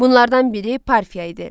Bunlardan biri Parfiya idi.